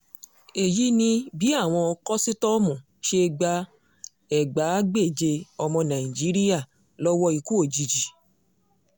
èyí ni bí àwọn kòsítọ́ọ̀mù ṣe gba ẹgbàágbèje ọmọ nàìjíríà lọ́wọ́ ikú òjijì